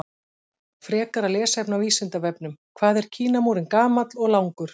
Frekara lesefni á Vísindavefnum: Hvað er Kínamúrinn gamall og langur?